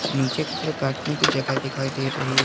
नीचे की तरफ बैठने की जगह दिखाई दे रही है।